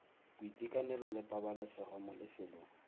boitekanelo le pabalesego mo lefelong